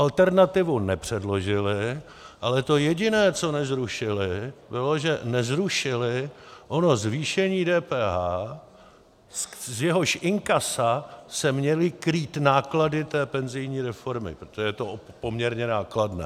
Alternativu nepředložily, ale to jediné, co nezrušily, bylo, že nezrušily ono zvýšení DPH, z jehož inkasa se měly krýt náklady té penzijní reformy, protože to je poměrně nákladné.